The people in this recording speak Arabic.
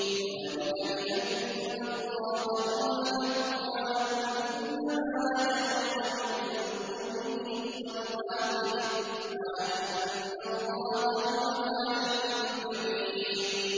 ذَٰلِكَ بِأَنَّ اللَّهَ هُوَ الْحَقُّ وَأَنَّ مَا يَدْعُونَ مِن دُونِهِ هُوَ الْبَاطِلُ وَأَنَّ اللَّهَ هُوَ الْعَلِيُّ الْكَبِيرُ